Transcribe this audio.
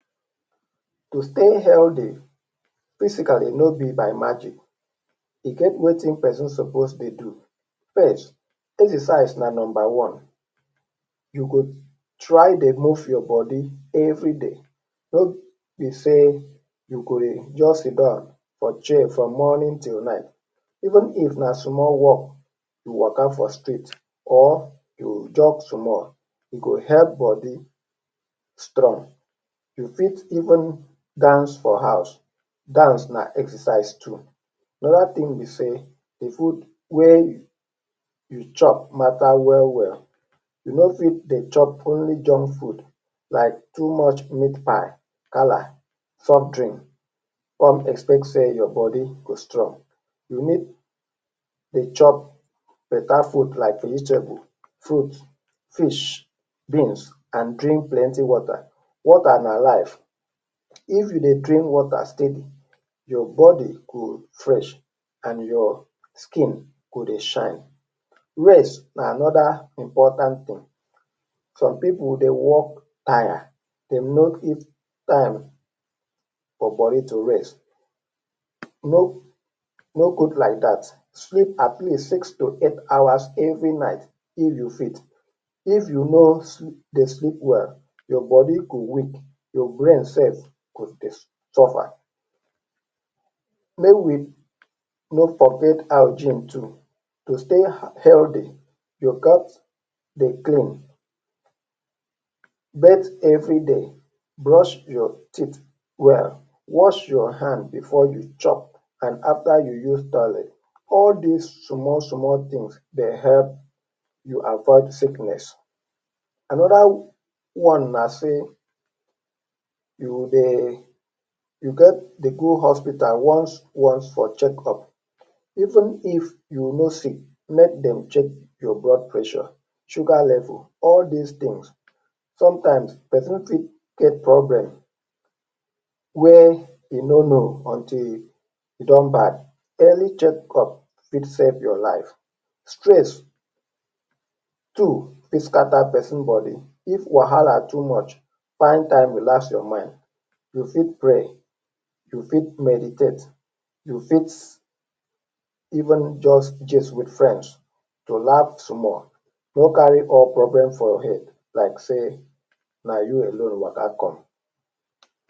To stay healthy, physically no be by magic, e get wetin pesin suppose dey do. First, exercise na number one. You go try dey move your body everyday. No be say you dey just sit down for chair from morning till night. Even if na small walk waka for street or you jog small, e go help body strong. You fit even dance for house. Dance na exercise too. Another thing be say the food wey you chop matter well well. You no fit dey chop only junk food like too much meatpie, gala, soft drink con expect say your body go strong. You need dey chop better food like vegetable, fruits, fish, beans and drink plenty water. Water na life. If you dey drink water steady, your body go fresh and your skin go dey shine. Rest na another important thing. Some pipu go dey work tire, dem no fit give time for body to rest. E no good like dat. Sleep for at least six to eight hours every night if you fit. If you no dey sleep well, your body go weak. Your brain sef go dey suffer. Make we no forget hygiene too. To stay healthy you gat dey clean. Bath everyday. Brush your teeth well. Wash your hand before you chop and after you use toilet. All these small, small things dey help you avoid sickness. Another one na say you dey you get dey go hospital once once for checkup, even if you no sick. Let them check your blood pressure, sugar level, all these things, sometimes pesin fit get problem wey e no know until e don bad. Early checkup fit save your life. Stress too fit scatter pesin body. If wahala too much, find time relax your mind. You fit pray, you fit meditate, you fit even just gist with friends to laugh small. No carry all problem for head like say na you alone waka come.